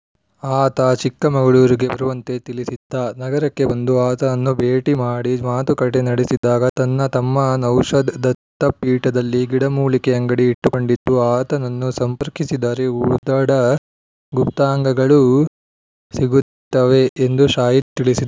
ಆತ ಚಿಕ್ಕಮಗಳೂರಿಗೆ ಬರುವಂತೆ ತಿಳಿಸಿದ್ದ ನಗರಕ್ಕೆ ಬಂದು ಆತನನ್ನು ಭೇಟಿ ಮಾಡಿ ಮಾತುಕತೆ ನಡೆಸಿದಾಗ ತನ್ನ ತಮ್ಮ ನೌಶದ್‌ ದತ್ತಪೀಠದಲ್ಲಿ ಗಿಡಮೂಲಿಕೆ ಅಂಗಡಿ ಇಟ್ಟುಕೊಂಡಿದ್ದು ಆತನನ್ನು ಸಂಪರ್ಕಿಸಿದರೆ ಉಡದ ಗುಪ್ತಾಂಗಗಳು ಸಿಗುತ್ತವೆ ಎಂದು ಶಾಹಿದ್‌ ತಿಳಿಸಿ